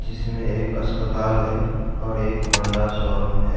जिसमें एक अस्पताल है और एक होंडा शोरूम है।